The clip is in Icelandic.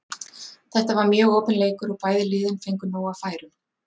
Þetta var mjög opinn leikur og bæði lið fengu nóg af færum.